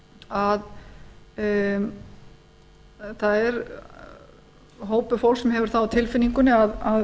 að það er hópur fólks sem hefur það á tilfinningunni að